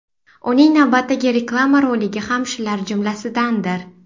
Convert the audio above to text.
Uning navbatdagi reklama roligi ham shular jumlasidandir.